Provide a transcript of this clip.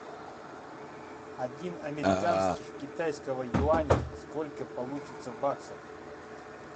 один американских китайского юаня сколько получится баксов